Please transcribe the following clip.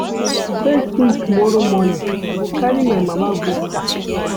First tin tomorrow morning, I go carry my mama go park.